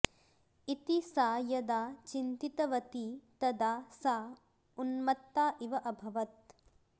इति सा यदा चिन्तितवती तदा सा उन्म्त्ता इव अभवत्